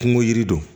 Kungo yiri don